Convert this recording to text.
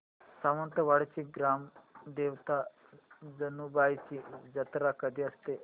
सातेवाडीची ग्राम देवता जानुबाईची जत्रा कधी असते